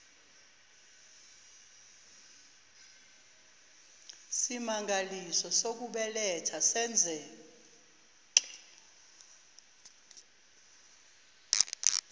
simangaliso sokubeletha senzeke